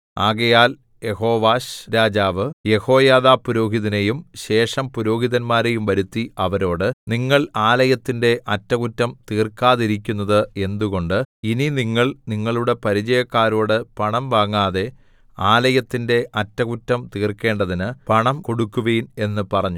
ആകയാൽ യെഹോവാശ്‌രാജാവ് യെഹോയാദാപുരോഹിതനെയും ശേഷം പുരോഹിതന്മാരെയും വരുത്തി അവരോട് നിങ്ങൾ ആലയത്തിന്റെ അറ്റകുറ്റം തീർക്കാതിരിക്കുന്നത് എന്തുകൊണ്ട് ഇനി നിങ്ങൾ നിങ്ങളുടെ പരിചയക്കാരോട് പണം വാങ്ങാതെ ആലയത്തിന്റെ അറ്റകുറ്റം തീർക്കേണ്ടതിന് പണം കൊടുക്കുവിൻ എന്ന് പറഞ്ഞു